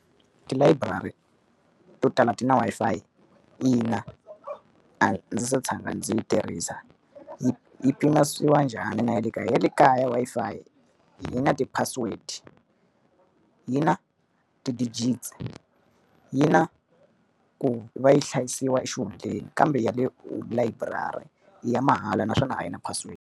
Tilayiburari to tala ti na Wi-Fi ina, a ndzi se tshama ndzi yi tirhisa. Yi yi pimanisiwa njhani na ya le kaya? Ya le kaya Wi-Fi yi na ti-password, yi na ti-digits, yi na ku va yi hlayisiwa xihundleni, kambe ya le layiburari i ya mahala naswona a yi na password.